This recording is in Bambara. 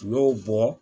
U y'o bɔ